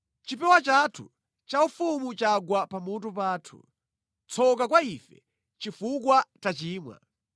Chipewa chathu chaufumu chagwa pamutu pathu. Tsoka kwa ife, chifukwa tachimwa!